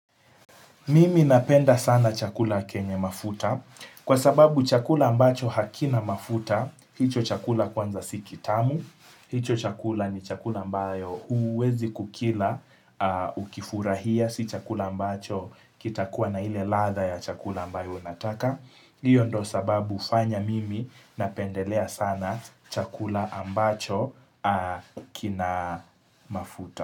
Mimi napenda sana chakula kenye mafuta. Kwa sababu chakula ambacho hakina mafuta, hicho chakula kwanza sikitamu. Hicho chakula ni chakula ambayo huwezi kukila ukifurahia. Si chakula ambacho kitakuwa na ile ladha ya chakula ambayo nataka. Hiyo ndo sababu hufanya mimi napendelea sana chakula ambacho kina mafuta.